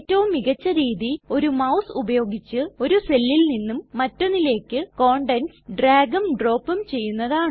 ഏറ്റവും മികച്ച രീതി ഒരു മൌസ് ഉപയോഗിച്ച് ഒരു സെല്ലിൽ നിന്നും മറ്റൊന്നിലേക്ക് കണ്ടൻറ്സ് ഡ്രാഗും ഡ്രോപ്പും ചെയ്യുന്നതാണ്